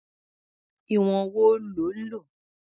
Ìwọ̀n wo lo lò?